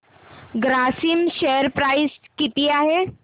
Grasim share price किती आहे